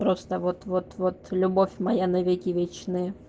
просто вот вот вот любовь моя на веки вечные